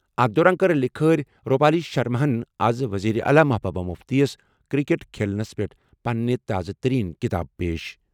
أتھ دوران کٔر لِکھٲرِ روٗپالی شرماہن آز وزیر اعلیٰ محبوبہ مُفتیَس کرکٹ کھیلَس پٮ۪ٹھ پنٕنہِ تازٕ تٔریٖن کِتاب پیش۔